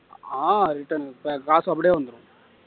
ஆஹ் return back காசு அப்படியே வந்துரும்